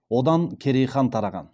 одан керей хан тараған